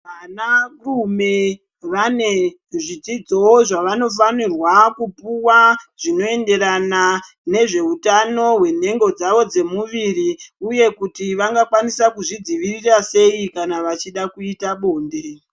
Vanarume vane zvidzidzo zvavanofanirwa kupuwa zvinoenderana nezveutano hwenhengo dzavo dzemuviri uye kuti vanokwanisa kuzvidzivirira sei kana vachida kuita bonde.